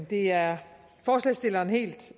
det er forslagsstillerne helt